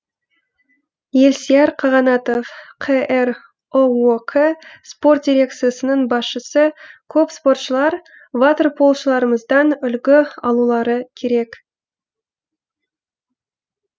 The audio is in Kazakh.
елсияр қанағатов қр ұок спорт дирекциясының басшысы көп спортшылар ватерполшыларымыздан үлгі алулары керек